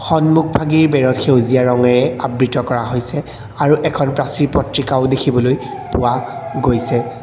সন্মুখভাগিৰ বেৰত সেউজীয়া ৰঙেৰে আবৃত কৰা হৈছে আৰু এখন প্ৰাচিৰ পত্ৰিকাও দেখিবলৈ পোৱা গৈছে।